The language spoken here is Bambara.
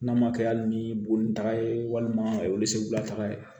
N'a ma kɛ hali ni bo ni taga ye walima segula taga ye